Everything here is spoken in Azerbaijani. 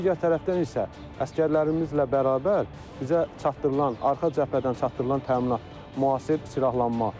Digər tərəfdən isə əsgərlərimizlə bərabər bizə çatdırılan arxa cəbhədən çatdırılan təminat, müasir silahlanma.